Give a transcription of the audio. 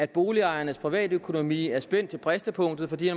boligejernes privatøkonomi er spændt til bristepunktet fordi